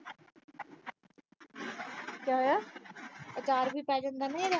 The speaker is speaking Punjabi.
ਕਿਆ ਹੋਇਆ। ਆਚਾਰ ਵੀ ਪੈ ਜਾਂਦਾ ਉਹਦਾ।